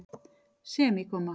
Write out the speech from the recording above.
semíkomma